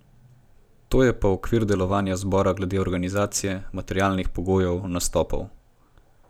To je pa okvir delovanja zbora glede organizacije, materialnih pogojev, nastopov.